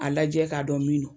A lajɛ k'a dɔn min don.